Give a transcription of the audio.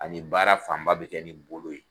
Ani baara fan ba bɛ kɛ nin bolo ye.